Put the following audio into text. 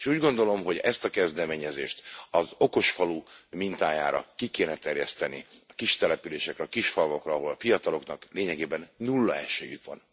Úgy gondolom, hogy ezt a kezdeményezést az okosfalu mintájára ki kéne terjeszteni kistelepülésekre, a kisfalvakra, ahol a fiataloknak lényegében nulla esélyük van bármire is.